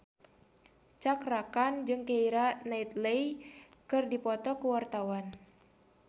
Cakra Khan jeung Keira Knightley keur dipoto ku wartawan